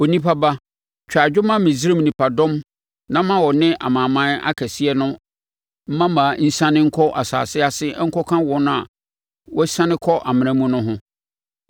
“Onipa ba, twa adwo ma Misraim nipadɔm na ma ɔne amanaman akɛseɛ no mmammaa nsiane nkɔ asase ase nkɔka wɔn a wɔasiane kɔ amena mu no ho.